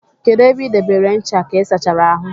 Kedụ ebe ị debere ncha ka ịsachara ahụ?